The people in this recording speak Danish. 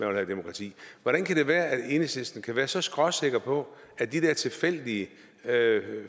vil have demokrati hvordan kan det være at enhedslisten kan være så skråsikker på at de der tilfældige